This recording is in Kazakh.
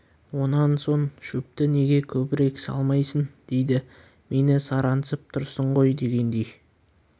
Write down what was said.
онан соң шөпті неге көбірек салмайсың дейді мені сараңсып тұрсың ғой дегендей